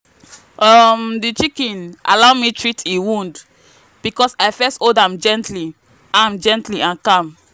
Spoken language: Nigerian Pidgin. um the chicken allow me treat e wound because i first hold am gently am gently and calm.